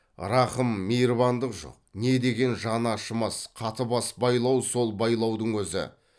рақым мейірбандық жоқ не деген жаны ашымас қатыбас байлау сол байлаудың өзі